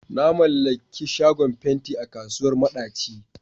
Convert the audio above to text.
Na mallaki shagon fenti a kasuwar madaci.